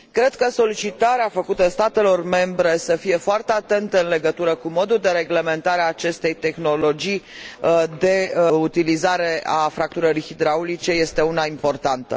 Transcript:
Cred că solicitarea făcută statelor membre, să fie foarte atente în legătură cu modul de reglementare a acestei tehnologii de utilizare a fracturării hidraulice, este una importantă.